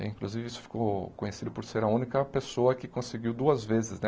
Inclusive isso ficou conhecido por ser a única pessoa que conseguiu duas vezes né.